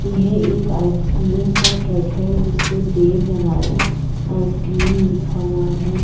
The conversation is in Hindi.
यह एक आइसक्रीम का ट्रक है। जिस पे देवनारायण आइसक्रीम लिखा हुआ है।